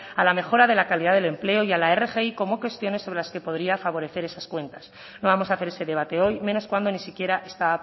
a la mejora de la calidad del empleo y a la rgi como cuestiones sobre las que podría favorecer esas cuentas no vamos a hacer ese debate hoy menos cuando ni siquiera está